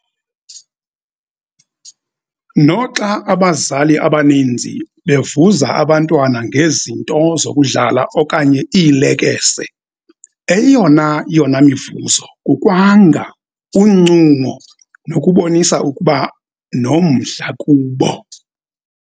Noxa abazali abaninzi bevuza abantwana ngezinto zokudlala okanye iilekese, eyonayona mivuzo kukwanga, uncumo nokubonisa ukuba nomdla kubo.